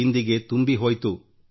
ರಿಕ್ತತನ ಅಡಗಿದೆಯಲ್ಲಾ